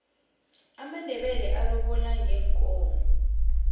amandebele alobola ngeenkomo